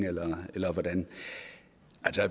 eller hvordan